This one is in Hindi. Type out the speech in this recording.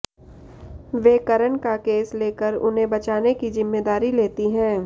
वे करण का केस लेकर उन्हें बचाने की जिम्मेदारी लेती है